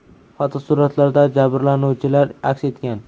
Fotosuratlarda jabrlanuvchilar aks etgan.